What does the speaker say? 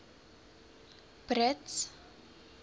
brits